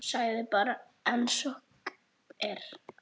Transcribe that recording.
Segðu bara einsog er.